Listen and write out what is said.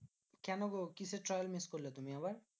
কেন গো? কিসের trial miss করলে তুমি আবার?